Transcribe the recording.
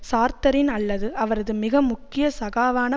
சார்த்தரின் அல்லது அவரது மிக முக்கிய சகாவான